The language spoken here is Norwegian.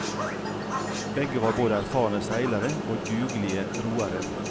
Begge var både erfarne seilere og dugelige roere.